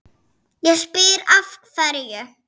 Ég spyr, af hverju?